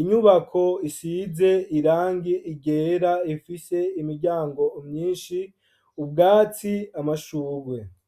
,inyubako isize irangi ryera rifise imiryango myinshi ,ubwatsi, amashurwe.